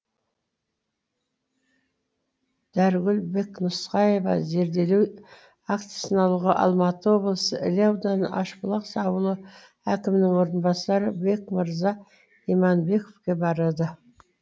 дәрігүл бекнұсқаева зерделеу актісін алуға алматы облысы іле ауданы ащыбұлақ ауылы әкімінің орынбасары бекмырза иманбековке барады